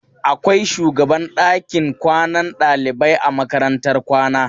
Akwai shugaban ɗakin kwanan ɗalibai a makarantar kwana.